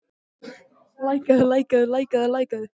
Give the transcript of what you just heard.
Alanta, hvað er á innkaupalistanum mínum?